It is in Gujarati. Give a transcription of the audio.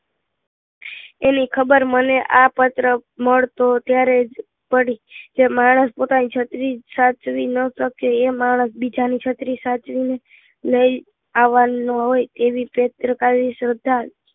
એની ખબર મને આ પત્ર મળતો ત્યારે જ પડી જે માણસ પોતાની છત્રી સાચવી ન શકે એ માણસ બીજાની છત્રી સાચવીને લઈ આવવાનો હોય એવી શેત્રકારી શ્રદ્ધા